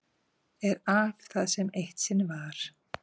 Er af það sem eitt sinn var.